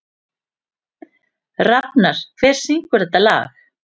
Rafnar, hver syngur þetta lag?